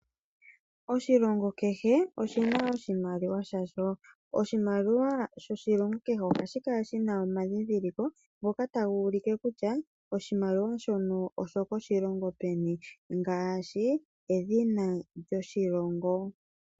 Oshilongo kehe oshina oshimaliwa shasho. Oshimaliwa shoshilongo kehe ohashi kala shina omandhindhiliko ngoka taga ulike kutya oshimaliwa shono osho koshilongo peni, ngaashi edhina lyoshilongo.